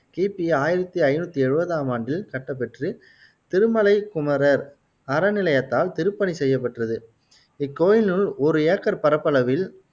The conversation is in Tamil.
கிபி ஆயிரத்தி ஐநூத்தி எழுவதாம் ஆண்டில் கட்டப்பெற்று திருமலை குமரர் அறநிலையத்தால் திருப்பணி செய்யப்பெற்றது இக்கோயிலினுள் ஒரு ஏக்கர் பரப்பளவில்